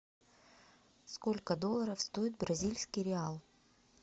сколько долларов стоит бразильский реал